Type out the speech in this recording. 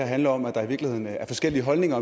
handler om at der i virkeligheden er forskellige holdninger